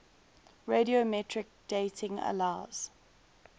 radiometric dating allows